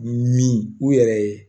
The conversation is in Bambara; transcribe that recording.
Min u yɛrɛ ye